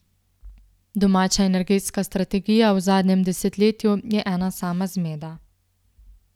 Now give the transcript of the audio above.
Domača energetska strategija v zadnjem desetletju je ena sama zmeda.